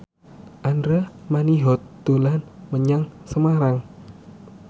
Andra Manihot dolan menyang Semarang